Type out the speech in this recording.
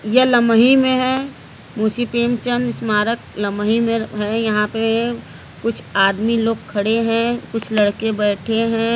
यह लमही में हैं मुशी प्रेमचंद स्मारक लमही में हैं | यहां पे कुछ आमदी लोग खड़े हैं कुछ लड़के बेठे हैं ।